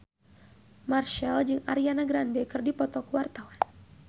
Marchell jeung Ariana Grande keur dipoto ku wartawan